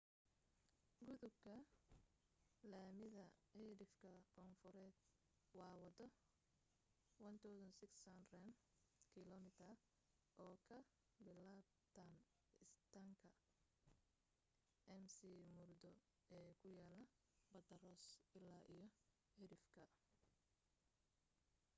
gudubka laamida cidhifka koonfureed waa waddo 1600 km oo ka bilaabanta istaanka mcmurdo ee ku yaal badda ross illaa iyo cidhifka